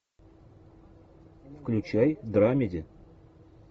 включай драмеди